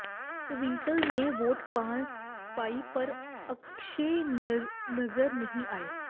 ਟਵਿੰਕਲ ਨੇ ਵੋਟ ਪਾਈ ਪਰ ਅਕਸ਼ੈ ਨਜ਼ਰ ਨਹੀਂ ਆਏ